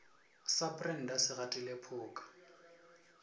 sa brenda se gatile phoka